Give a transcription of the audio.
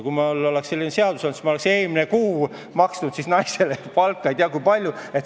Kui siis oleks selline seadus olnud, siis ma oleksin eelmine kuu maksnud naisele ei tea kui palju palka.